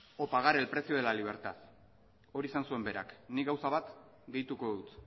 o pagar el precio de la libertad hori esan zuen berak nik gauza bat gehituko dut